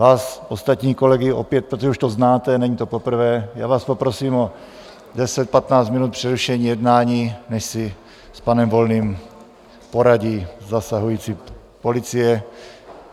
Vás, ostatní kolegy, opět - protože už to znáte, není to poprvé - vás poprosím o 10, 15 minut přerušení jednání, než si s panem Volným poradí zasahující policie.